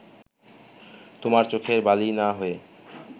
তোমার চোখের বালি না হয়ে